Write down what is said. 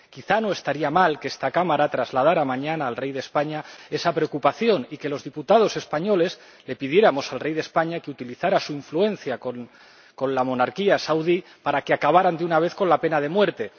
Quizá no estaría mal que esta Cámara trasladara mañana al rey de España esa preocupación y que los diputados españoles le pidiéramos al rey de España que utilice su influencia con la monarquía saudí para que acaben, de una vez, con la pena de muerte.